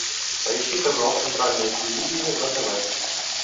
поищи канал центральное телевидение на тв